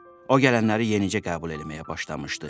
O gələnləri yenicə qəbul eləməyə başlamışdı.